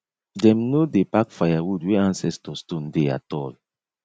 dem no dey pack firewood where ancestor stone dey at all